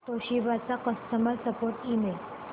Toshiba चा customer support email